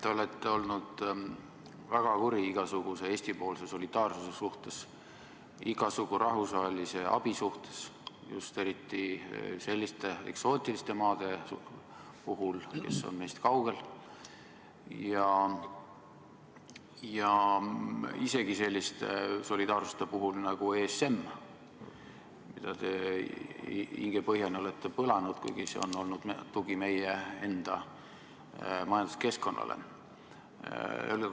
Te olete olnud väga kuri igasuguse Eesti-poolse solidaarsuse suhtes, igasuguse rahvusvahelise abi suhtes, just eriti selliste eksootiliste maade puhul, kes on meist kaugel, ja isegi sellise solidaarsuse suhtes nagu ESM, mida te hingepõhjani olete põlanud, kuigi see on olnud tugi meie enda majanduskeskkonnale.